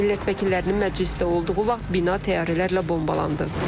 Millət vəkillərinin məclisdə olduğu vaxt bina təyyarələrlə bombalandı.